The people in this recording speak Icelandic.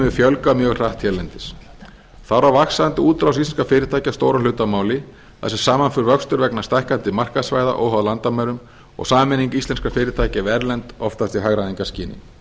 hefur fjölgað mjög hratt hérlendis þar á vaxandi útrás íslenskra fyrirtækja stóran hlut að máli þar sem saman fer vöxtur vegna stækkandi markaðssvæða óháð landamærum og sameining íslenskra fyrirtækja við erlend oftast í hagræðingarskyni